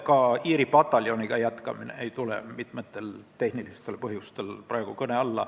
Ka Iiri pataljoniga jätkamine ei tule mitmel tehnilisel põhjusel kõne alla.